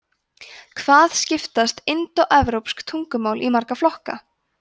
hvað skiptast indóevrópsk tungumál í marga flokka